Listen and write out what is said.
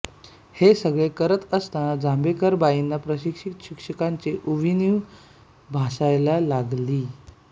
हे सगळे करत असताना जांभेकर बाईंना प्रशिक्षित शिक्षकांची उणीव भासायला लागली